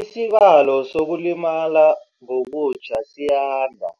Isibalo sokulimala ngokutjha siyanda